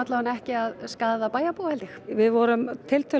ekki að skaða bæjarbúa held ég við vorum